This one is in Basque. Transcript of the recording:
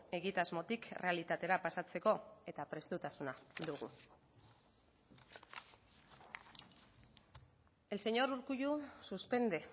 egitasmotik errealitaterako pasatzeko eta prestutasuna dugu el señor urkullu suspende